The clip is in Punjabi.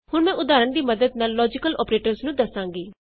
ਹੁਣ ਮੈਂ ਉਦਾਹਰਣ ਦੀ ਮਦਦ ਨਾਲ ਲੋਜੀਕਲ ਅੋਪਰੇਟਰਸ ਨੂੰ ਦਸਾਂਗੀ